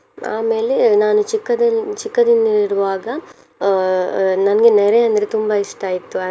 ಆಮೇಲೆ ನಾನು ಚಿಕ್ಕದಿನ್~ ಚಿಕ್ಕದಿಂದಿರುವಾಗ ಅಹ್ ಅಹ್ ನನ್ಗೆ ನೆರೆ ಅಂದ್ರೆ ತುಂಬಾ ಇಷ್ಟ ಇತ್ತು.